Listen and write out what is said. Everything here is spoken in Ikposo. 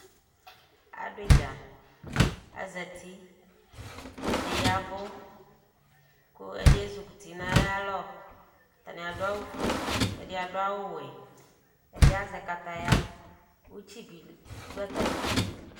Aduidza, azatiƐdi yavʋ, kʋ ɛdi ezukuti nayalɔAtani adʋ awu fueƐdi adʋ awu wɛƐdi azɛ kataya Utsi bi dʋ atamidu